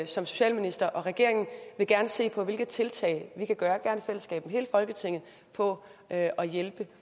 socialminister og regeringen vil gerne se på hvilke tiltag vi kan gøre i fællesskab i hele folketinget for at hjælpe